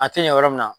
A tɛ ɲɛ yɔrɔ min na